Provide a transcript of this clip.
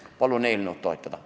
Palun eelnõu toetada!